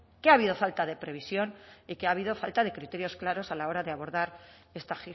que ha habido falta de previsión y que ha habido falta de criterios claros a la hora de abordar esta